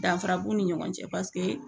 Danfara b'u ni ɲɔgɔn cɛ paseke